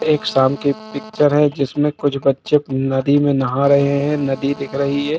एक शाम की पिक्चर है जिसमे कुछ बच्चे नदी में नहा रहे है नदी दिख रही है।